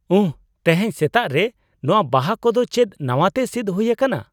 ᱩᱦ ! ᱛᱮᱦᱮᱧ ᱥᱮᱛᱟᱜ ᱨᱮ ᱱᱚᱣᱟ ᱵᱟᱦᱟ ᱠᱚᱫᱚ ᱪᱮᱫ ᱱᱟᱣᱟᱛᱮ ᱥᱤᱫᱽ ᱦᱩᱭᱟᱠᱟᱱᱟ ?